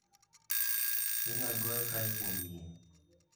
Inyal goye kae kuom yie